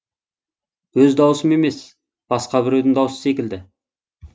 өз даусым емес басқа біреудің даусы секілді